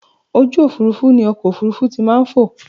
Ojú òfurufú ni ọkọ̀ òfurufú ti maa n fò